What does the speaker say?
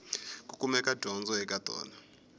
ku kumeka dyondzo eka tona